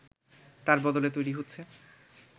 তার বদলে তৈরি হচ্ছে